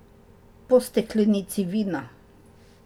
Po steklenici vina.